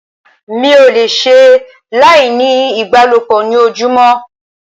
Mi ò le ṣe láì ní ìbálòpọ̀ ní ojúmọ́.